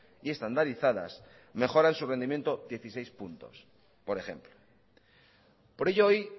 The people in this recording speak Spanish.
y estandarizadas mejoran su rendimiento dieciséis puntos por ejemplo por ello hoy